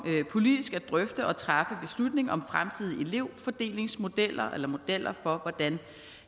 politisk at drøfte og træffe beslutning om fremtidige elevfordelingsmodeller eller modeller for hvordan